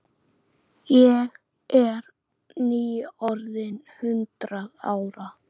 Ég er nýorðin hundrað ára.